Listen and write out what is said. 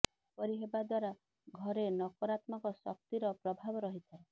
ଏପରି ହେବା ଦ୍ୱାରା ଘରେ ନକରାତ୍ମକ ଶକ୍ତିର ପ୍ରଭାବ ରହିଥାଏ